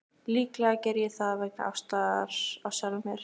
Líklega geri ég það vegna ástar á sjálfum mér.